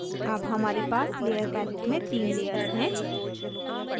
अब हमारे पास layer palette में तीन layers हैं